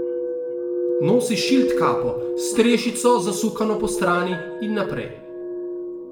Nosi šiltkapo, s strešico zasukano postrani in naprej.